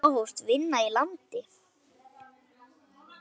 Þá hófst vinna í landi.